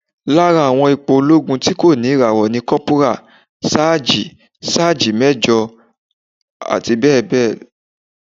Lára àwọn ipò olóogun tí kò ní ìràwọ̀ ni Kọ́púrà, Sáàjì, Sáájì Méjọ̀, abbl.